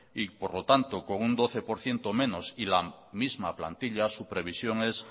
y por lo tanto con un doce por ciento y la misma plantilla su previsión es